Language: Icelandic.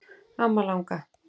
Amma langa.